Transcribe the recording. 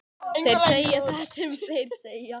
Þeir segja það sem þeir segja,